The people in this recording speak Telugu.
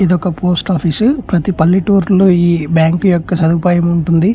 ఇది ఒక పోస్ట్ ఆఫీస్ ప్రతి పల్లెటూరు లో ఈ బ్యాంకు యొక్క సదుపాయాము ఉంటుంది.